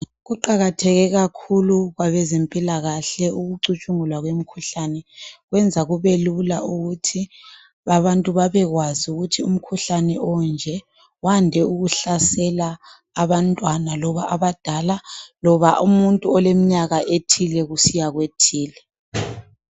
Kuqakatheke kakhulu kwabezempilakahle ukucutshungulwa kwemkhuhlane kwenza kube lula ukuthi abantu babekwazi ukuthi umkhuhlane onje wande ukuhlasela abantwana loba abadala loba umuntu olemnyaka ethile kusiya kwethile.